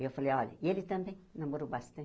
E eu falei, olha, e ele também namorou bastante.